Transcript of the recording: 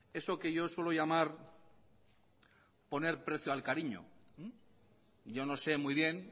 eso que yo suelo llamar poner precio al cariño yo no sé muy bien